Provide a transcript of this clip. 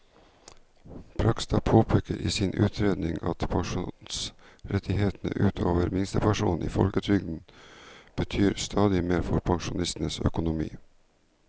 Bragstad påpeker i sin utredning at pensjonsrettighetene ut over minstepensjonen i folketrygden betyr stadig mer for pensjonistenes økonomi.